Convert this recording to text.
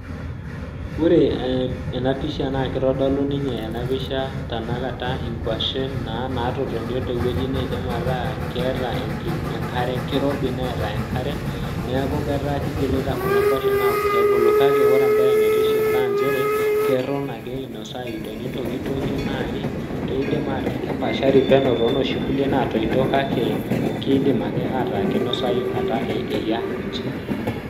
Ore ee ena pisha naake itodolu ninye ena pisha tenakata inkuashen naa naatotonio te wueji neidim ataa keeta enki enkare, kirobi neeta enkare. Neeku ketaa kigilita kuna kuashen aaku peebulu, kake ore embaye naitiship naa nchere keton ake inosayu tenintokitokie nai kiidim ataa kepaashari penyo too noshi kulie naatoito kake kiidim ake ataa kinosayu ata eyia inchi.